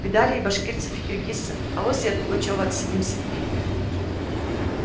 видали и башкирцев и киргизцев авось и от пугачёва отсидимся